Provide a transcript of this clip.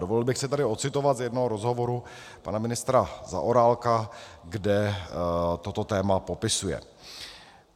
Dovolil bych si tady ocitovat z jednoho rozhovoru pana ministra Zaorálka, kde toto téma popisuje: